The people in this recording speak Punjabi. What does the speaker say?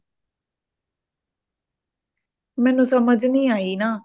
ਮੈਨੂੰ ਸਮਝ ਨਹੀਂ ਆਯੀ ਨਾ